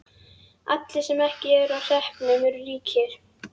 Allir sem ekki eru á hreppnum eru ríkir.